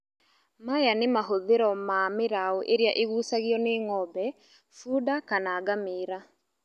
Maya nĩ mahũthĩro ma mĩraũ ĩrĩa ĩgucagio nĩ ng'ombe, bunda kana ngamĩra